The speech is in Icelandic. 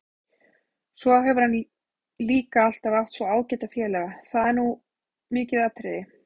Svo hefur hann líka alltaf átt svo ágæta félaga, það er nú mikið atriði.